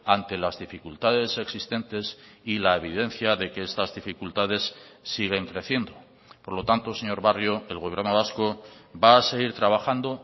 ante las dificultades existentes y la evidencia de que estas dificultades siguen creciendo por lo tanto señor barrio el gobierno vasco va a seguir trabajando